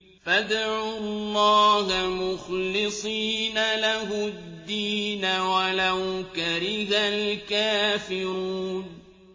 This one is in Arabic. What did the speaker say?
فَادْعُوا اللَّهَ مُخْلِصِينَ لَهُ الدِّينَ وَلَوْ كَرِهَ الْكَافِرُونَ